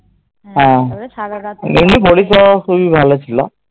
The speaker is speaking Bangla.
হ্যাঁ এমনি পরিষেবা খুবই ভালো ছিল